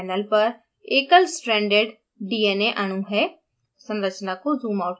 अब हमारे पास panel पर एकल स्ट्रैन्डेड dna अणु है